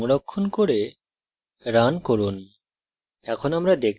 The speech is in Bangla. file সংরক্ষণ করে রান করুন